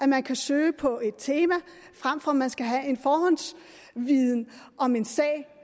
man kan søge på et tema frem for at man skal have en forhåndsviden om en sag